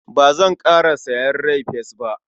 Ba zanƙara sayen rai-fes ba.